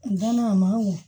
Danna a man